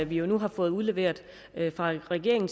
vi nu har fået udleveret af regeringen